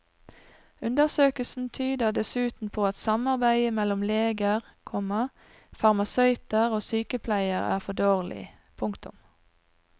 Undersøkelsen tyder dessuten på at samarbeidet mellom leger, komma farmasøyter og sykepleiere er for dårlig. punktum